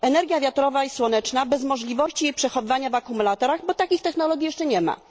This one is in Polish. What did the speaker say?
energia wiatrowa i słoneczna bez możliwości jej przechowywania w akumulatorach, bo takich technologii jeszcze nie ma